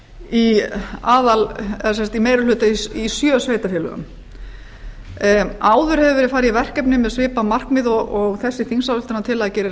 í meiri hluta í sjö sveitarfélögum áður hefur verið farið í verkefni með svipað markmið og þessi þingsályktunartillaga gerir